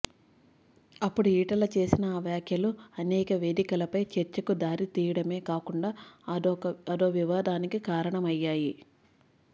అప్పుడు ఈటల చేసిన ఆ వ్యాఖ్యలు అనేక వేదికలపై చర్చకు దారితీయడమే కాకుండా అదో వివాదానికి కారణమయ్యాయి